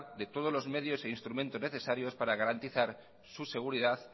de todos los medios e instrumentos necesarios para garantizar su seguridad